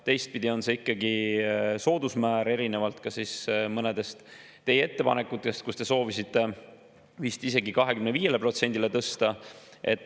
Teistpidi on see ikkagi soodusmäär erinevalt mõnedest teie ettepanekutest, mille järgi te soovisite vist isegi 25%‑le tõsta.